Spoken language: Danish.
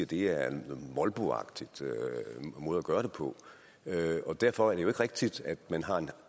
det er en molboagtig måde at gøre det på og derfor er det jo ikke rigtigt at man har et